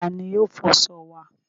Ta ni yóò fọṣọ wa?